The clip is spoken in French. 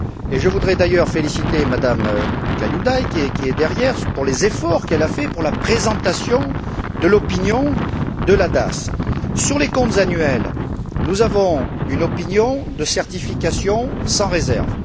Je voudrais d'ailleurs féliciter Mme Kaljulaid pour les efforts qu'elle a fournis pour la présentation de l'opinion de la DAS. Sur les comptes annuels, nous avons une opinion de certification sans réserve.